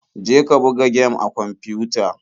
Je ka buga gem a kwamfiyuta.